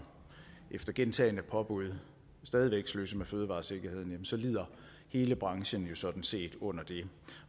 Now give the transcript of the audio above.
efter gentagne påbud stadig væk sløser med fødevaresikkerheden så lider hele branchen jo sådan set under det